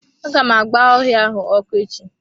Aga m agba ọhịa ahụ ọkụ echi.